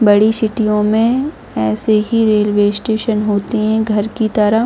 बड़ी सिटीयों में ऐसे ही रेलवे स्टेशन होते हैंघर की तरह।